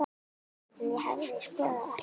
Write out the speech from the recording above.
En ég hefði skoðað allt.